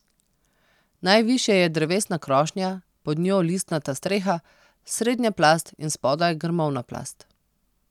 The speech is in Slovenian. Najvišje je drevesna krošnja, pod njo listnata streha, srednja plast in spodaj grmovna plast.